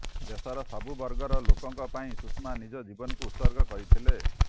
ଦେଶର ସବୁ ବର୍ଗର ଲୋକଙ୍କ ପାଇଁ ସୁଷମା ନିଜ ଜୀବନକୁ ଉତ୍ସର୍ଗ କରିଥିଲେ